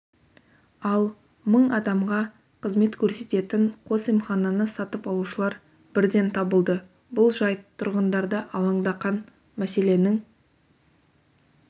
ал мың адамға қызмет көрсететін қос емхананы сатып алушылар бірден табылды бұл жайт тұрғындарды алаңдақан мәселенің